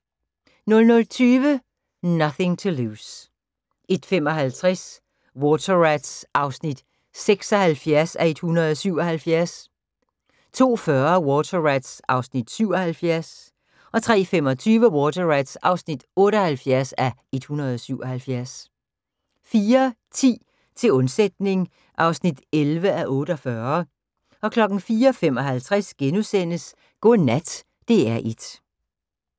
00:20: Nothing to Lose 01:55: Water Rats (76:177) 02:40: Water Rats (77:177) 03:25: Water Rats (78:177) 04:10: Til undsætning (11:48) 04:55: Godnat DR1 *